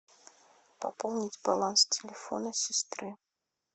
пополнить баланс телефона сестры